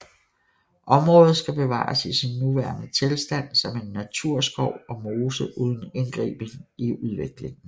Området skal bevares i sin nuværende tilstand som en naturskov og mose uden indgriben i udviklingen